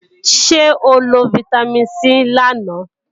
Ṣé o lo fítámìn C lánàá?